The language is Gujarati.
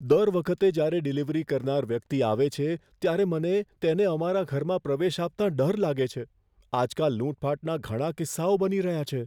દર વખતે જ્યારે ડિલિવરી કરનાર વ્યક્તિ આવે છે, ત્યારે મને તેને અમારા ઘરમાં પ્રવેશ આપતાં ડર લાગે છે. આજકાલ લૂંટફાટના ઘણા કિસ્સાઓ બની રહ્યા છે.